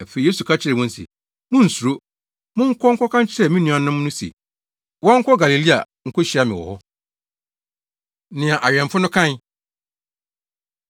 Afei Yesu ka kyerɛɛ wɔn se, “Munnsuro! Monkɔ nkɔka nkyerɛ me nuanom no se wɔnkɔ Galilea nkohyia me wɔ hɔ.” Nea Awɛmfo No Kae